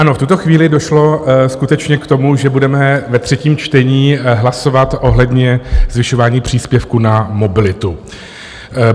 Ano, v tuto chvíli došlo skutečně k tomu, že budeme ve třetím čtení hlasovat ohledně zvyšování příspěvku na mobilitu.